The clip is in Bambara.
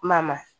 Kuma na